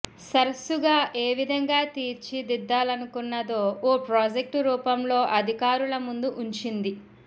సరస్సుగా ఏ విధంగా తీర్చిదిద్దాలనుకున్నదో ఓ ప్రాజెక్టు రూపంలో అధికారుల ముందు ఉంచింది